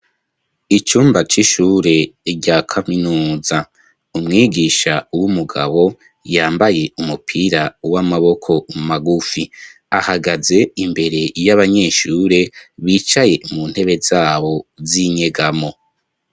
Icumba c'ishure rya kaminuza. Umwigisha w'umugabo yambaye umupira w'amaboko magufi, ahagaze imbere y'abanyeshure bicaye mu ntebe z'abo z'inyegamo